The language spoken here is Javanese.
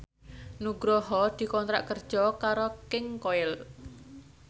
Nugroho dikontrak kerja karo King Koil